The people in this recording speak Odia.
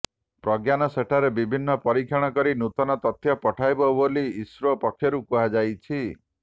ପ୍ରଜ୍ଞାନ ସେଠାରେ ବିଭିନ୍ନ ପରୀକ୍ଷଣ କରି ନୂତନ ତଥ୍ୟ ପଠାଇବ ବୋଲି ଇସ୍ରୋ ପକ୍ଷରୁ କୁହାଯାଇଛି